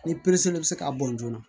Ni bɛ se ka bɔn joona